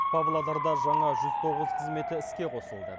павлодарда жаңа жүз тоғыз қызметі іске қосылды